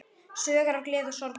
Sögur af gleði og sorgum.